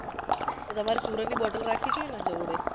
તો તમારે ચુરનની bottle રાખવી જોઈએ ને જોડે